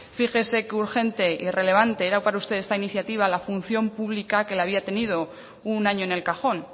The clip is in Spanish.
fíjese qué urgente y relevante era para usted esta iniciativa la función pública que la había tenido un año en el cajón